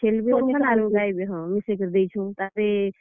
ଛେଲ୍ ବି ଅଛନ୍ ଆରୁ ଗାଈ ବି ହଁ ମିଶେଇ କରି ଦେଇଛୁଁ, ତାପ୍ ରେ।